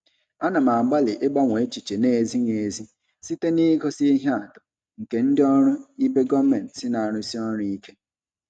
Ana m agbalị ịgbanwe echiche na-ezighị ezi site n'igosi ihe atụ nke ndị ọrụ ibe gọọmentị na-arụsi ọrụ ike.